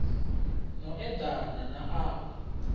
no eḓana na a we